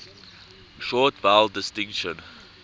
short vowel distinction